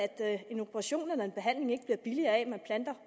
at en operation eller en behandling ikke bliver billigere af at man planter